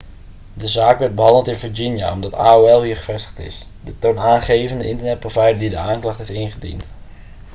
de zaak werd behandeld in virginia omdat aol hier gevestigd is de toonaangevende internetprovider die de aanklacht heeft ingediend